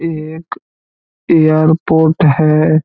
एक एयरपोर्ट है ।